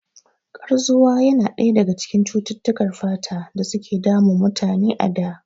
Kazwa yana ɗaya daga cututtukar fata da suke damun mutane a da